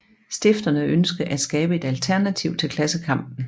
Stifterne ønskede at skabe et alternativ til klassekampen